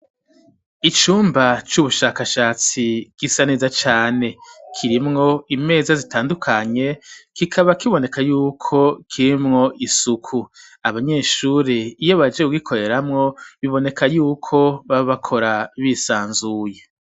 Icumba c'ubushakashatsi gisa neza cane kirimwo imeza zitandukanye kikaba kiboneka yuko kirimwo isuku abanyeshure iyo bahejeje kugikoreramo biboneka y'uko bakora bisanzuye.